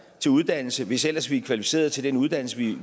til uddannelse hvis ellers vi er kvalificeret til den uddannelse